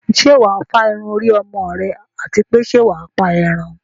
Ṣé wà á fá irun orí ọmọ rẹ àti pé ṣẹ́ wà á pa ẹran?